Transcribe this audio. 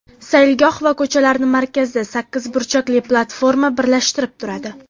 Saylgoh va ko‘chalarni markazda sakkiz burchakli platforma birlashtirib turadi.